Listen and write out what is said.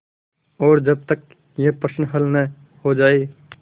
और जब तक यह प्रश्न हल न हो जाय